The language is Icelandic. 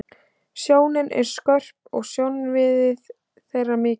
Sjónin er skörp og sjónsvið þeirra mikið.